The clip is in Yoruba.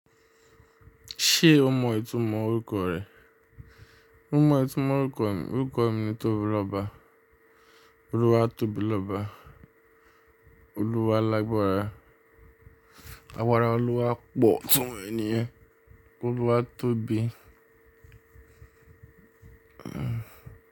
Ṣé o mọ ìtumọ̀ orúkọ rẹ̀? Mo mọ ìtumọ̀ orúkọ mi, orúkọ mi ni Tobiloba. Olúwa Tobiloba. Olúwa lágbára, agbára Olúwa pọ̀ itumo e niyen. Olúwatóbi. Hmm.